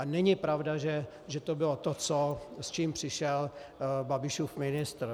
A není pravda, že to bylo to, s čím přišel Babišův ministr.